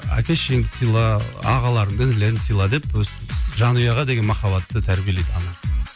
әке шешеңді сыйла ағаларыңды інілеріңді сыйла деп өстіп жанұяға деген махаббатты тәрбиелейді ана